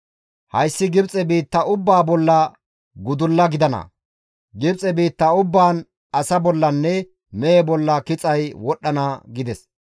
hayssi Gibxe biitta ubbaa bolla gudulla gidana; Gibxe biitta ubbaan asa bollanne mehe bolla kixay wodhdhana» gides.